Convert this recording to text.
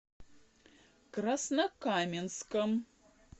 краснокаменском